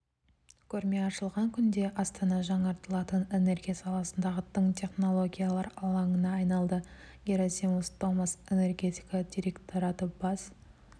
көрме ашылған күнде астана жаңартылатын энергия саласындағы тың технологиялар алаңына айналды герассимос томас энергетика директораты бас